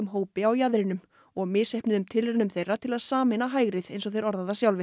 hópi á jaðrinum og misheppnuðum tilraunum þeirra til að sameina hægrið eins og þeir orða það sjálfir